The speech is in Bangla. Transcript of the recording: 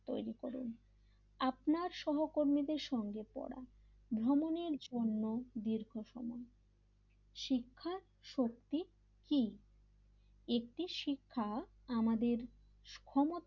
তৈরি করে আপনার সহকর্মীদের সঙ্গে পড়া ভ্রমণের জন্য দীর্ঘ সময় শিক্ষা শক্তি কি একটি শিক্ষা আমাদের সমাজ তৈরি করে,